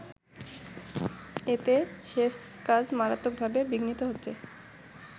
এতে সেচ কাজ মারাত্মকভাবে বিঘ্নিত হচ্ছে।